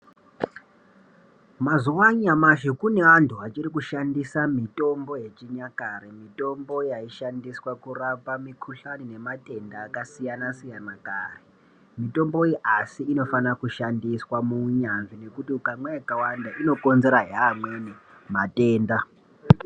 Mazuwa anyamashi kune antu achiri kushandisa mitombo yechinyakare, mitombo yaishandiswa kurapa mikhuhlani nematenda akasiyanasiyana kare. Mitombo iyi asi inofana kushandiswa muunyanzvi ngekuti ukamwa yakawanda inokonzerahe amweni matenda.